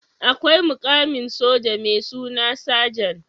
Akwai mukamin soja mai suna sajan